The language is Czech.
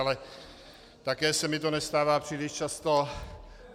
Ale také se mi to nestává příliš často.